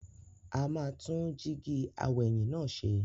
A máa tún jíígi aw'ẹ̀yìn náà ṣe.